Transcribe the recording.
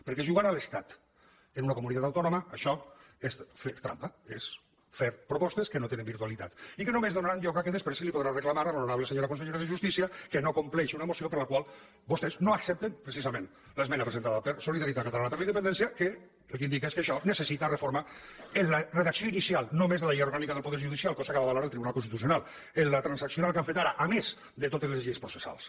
perquè jugar a l’estat en una comunitat autònoma això és fer trampa és fer propostes que no tenen virtualitat i que només donaran lloc que després se li podrà reclamar a l’honorable senyora consellera de justícia que no compleix una moció per a la qual vostès no accepten precisament l’esmena presentada per solidaritat catalana per la independència que el que indica és que això necessita reforma en la redacció inicial només de la llei orgànica del poder judicial cosa que ha de valorar el tribunal constitucional en la transaccional que han fet ara a més de totes les lleis processals